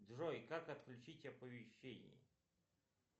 джой как отключить оповещение